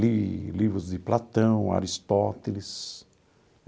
Li livros de Platão, Aristóteles.